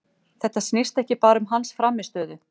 Þetta snýst ekki bara um hans frammistöðu.